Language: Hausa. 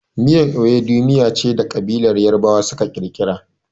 Miyar Ewedu miya ce da ƙabilar Yarabawa suka kirkira.